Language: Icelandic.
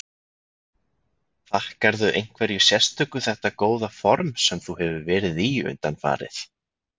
Þakkarðu einhverju sérstöku þetta góða form sem þú hefur verið í undanfarið?